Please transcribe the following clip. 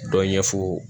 Dɔ ɲɛ fo